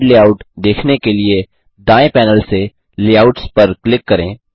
slight layout देखने के लिए दाएँ पैनल से लेआउट्स पर क्लिक करें